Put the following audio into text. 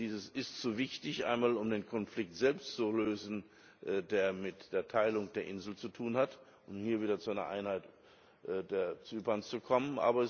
Das ist so wichtig, einmal um den Konflikt selbst zu lösen, der mit der Teilung der Insel zu tun hat, um hier wieder zu einer Einheit Zyperns zu kommen.